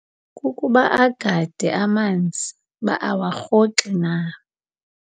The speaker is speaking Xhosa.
Kukuba agade amanzi uba awarhoxi na.